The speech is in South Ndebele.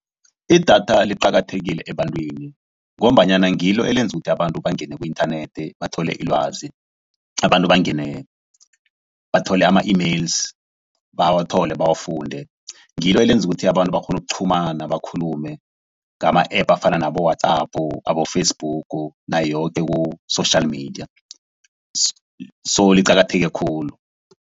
Idatha liqakathekile ebantwini, ngombanyana ngilo elenza ukuthi abantu bangene ku-inthanethi bathole ilwazi. Abantu bangene bathole ama-emails, bawathole bawafunde. Ngilo elenza ukuthi abantu bakghone ukuqhumana bakhulume ngama-App afana nabo-WhatsApp, nabo-Facebook nayo yoke ku-social media. So liqakatheke khulu.